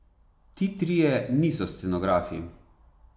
Ti trije niso scenografi.